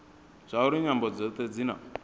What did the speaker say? zwauri nyambo dzothe dzi na